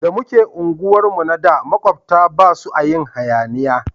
Da muke unguwar mu na da makwabta basu a yin hayaniya